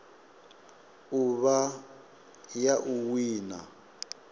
u vha ya u wina